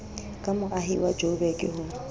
ka moahi wa joburg ho